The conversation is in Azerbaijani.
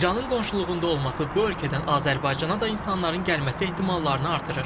İranın qonşuluğunda olması bu ölkədən Azərbaycana da insanların gəlməsi ehtimallarını artırır.